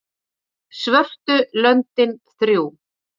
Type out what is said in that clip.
svörtu löndin þrjú